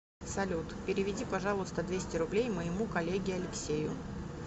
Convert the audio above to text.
салют переведи пожалуйста двести рублей моему коллеге алексею